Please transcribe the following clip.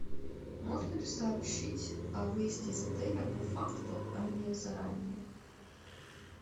можно ли сообщить о выезде из отеля по факту а не заранее